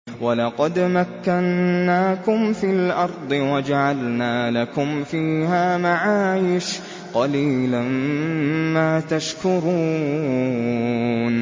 وَلَقَدْ مَكَّنَّاكُمْ فِي الْأَرْضِ وَجَعَلْنَا لَكُمْ فِيهَا مَعَايِشَ ۗ قَلِيلًا مَّا تَشْكُرُونَ